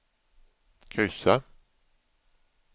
kryssa